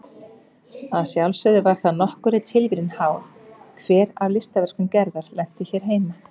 Að sjálfsögðu var það nokkurri tilviljun háð hver af listaverkum Gerðar lentu hér heima.